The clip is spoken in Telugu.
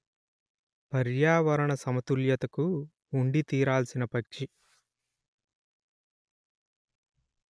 పర్యావరణ సమతుల్యతకు ఉండి తీరాల్సిన పక్షి